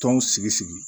Tɔnw sigi sigi